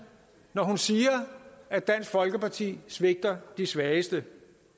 når hun siger at dansk folkeparti svigter de svageste